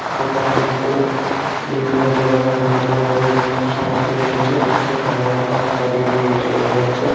দোকানটিতে বিভিন্ন ধরনের হার্ডওয়ার -এর সামগ্রী রয়েছে যেখানে অনেক মানুষ দাঁড়িয়ে রয়েছে বোঝা যাচ্ছে।